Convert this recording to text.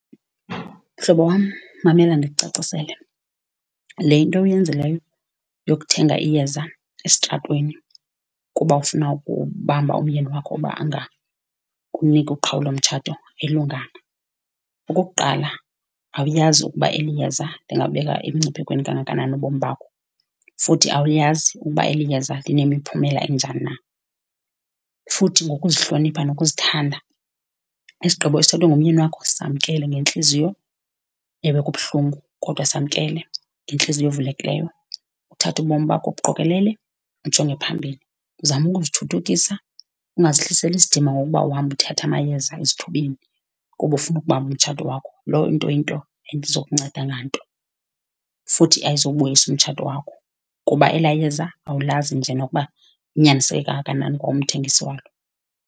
Mhlobo wam, mamela ndikucacisele, le into uyenzileyo yokuthenga iyeza esitratweni kuba ufuna ukubamba umyeni wakho uba angakuniki uqhawulo mtshato ayilunganga. Okokuqala, awuyazi ukuba eli yeza lingabeka emngciphekweni kangakanani ubomi bakho, futhi awuyazi uba eli yeza linemiphumela enjani na. Futhi ngokuzihlonipha nokuzithanda, isigqibo esithathwe ngumyeni wakho samkele ngentliziyo. Ewe kubuhlungu kodwa samkele ngentliziyo evulekileyo, uthathe ubomi bakho ubuqokelele ujonge phambili, uzame ukuzithuthukisa, ungazihliseli isidima ngokuba uhamba uthatha amayeza esithubeni kuba ufuna ukubamba umtshato wakho. Loo nto yinto engazukunceda nganto, futhi ayizubuyisa umtshato wakho, kuba elaa yeza awulazi nje nokuba unyaniseke kangakanani kwa umthengisi walo.